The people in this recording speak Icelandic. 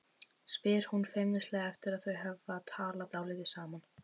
spyr hún feimnislega eftir að þau hafa talað dálítið saman.